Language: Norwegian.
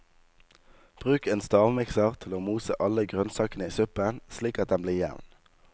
Bruk en stavmikser til å mose alle grønnsakene i suppen, slik at den blir jevn.